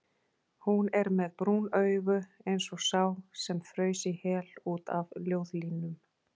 Hún er með brún augu eins og sá sem fraus í hel út af ljóðlínum.